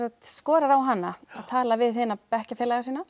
skorar á hana að tala við hina bekkjarfélaga sína